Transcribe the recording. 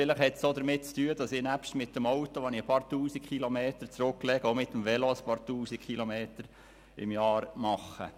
Vielleicht hat es auch damit zu tun, dass ich sowohl mit dem Auto als auch mit dem Velo einige Tausend Kilometer im Jahr zurücklege.